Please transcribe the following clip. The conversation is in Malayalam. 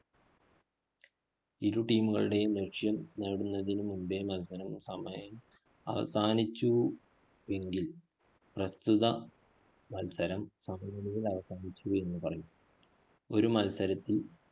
ഇരു team കളുടെയും ലക്ഷ്യം നേടുന്നതിനു മുമ്പേ മത്സരം സമയം അവസാനിച്ചു എങ്കില്‍, പ്രസ്തുത മത്സരം സമനിലയില്‍ അവസാനിച്ചു എന്ന് പറയും. ഒരു മത്സരത്തില്‍